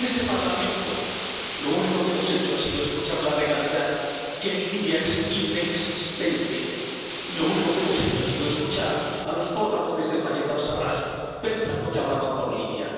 En este Parlamento lo único que hemos hecho ha sido escuchar la legalidad, que en Libia es inexistente, y lo único que hemos hecho ha sido escuchar a los portavoces de Fayez al Sarraj, pensando que hablaban por Libia.